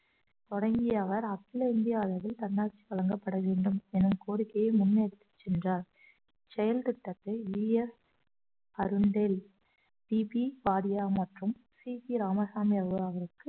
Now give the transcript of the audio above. தொடங்கிய அவர் அகில இந்திய அளவில் தன்னாட்சி வழங்கப்பட வேண்டும் என கோரிக்கையை முன்னெடுத்துச் சென்றார் செயல்திட்டத்தை வி எஸ் சி பி காரியாங் மற்றும் சி பி ராமசாமி அவர் அவருக்கு